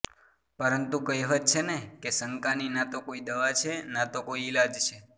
પરંતુ કહેવત છે ને કે શંકાની નાતો કોઇ દવા છે ના તો કોઇ ઇલાજ છે